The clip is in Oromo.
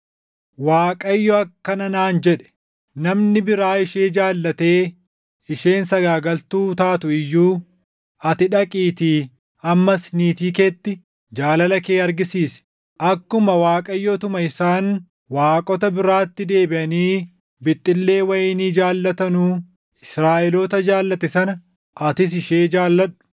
Waaqayyo akkana naan jedhe; “Namni biraa ishee jaallatee isheen sagaagaltuu taatu iyyuu, ati dhaqiitii ammas niitii keetti jaalala kee argisiisi. Akkuma Waaqayyoo utuma isaan waaqota biraatti deebiʼanii bixxillee wayinii jaallatanuu Israaʼeloota jaallate sana atis ishee jaalladhu.”